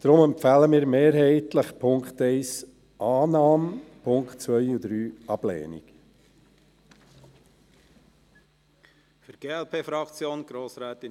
Deshalb empfehlen wir mehrheitlich die Annahme von Punkt 1 und die Ablehnung der Punkte 2 und 3.